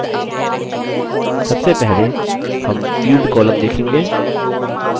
सबसे पहले हम field column देखेंगे